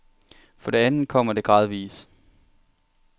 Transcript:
For det andet kommer det gradvis.